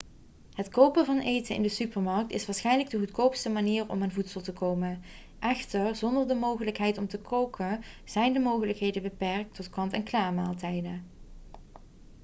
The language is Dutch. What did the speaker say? het kopen van eten in de supermarkt is waarschijnlijk de goedkoopste manier om aan voedsel te komen echter zonder de mogelijkheid om te koken zijn de mogelijkheden beperkt tot kant-en-klaarmaaltijden